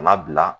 Kana bila